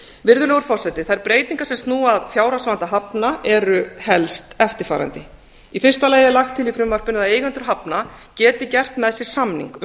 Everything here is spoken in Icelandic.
virðulegur forseti þær breytingar sem snúa að fjárhagsvanda hafna eru helst eftirfarandi í fyrsta lagi er lagt til í frumvarpinu að eigendur hafna geti gert með sér samning um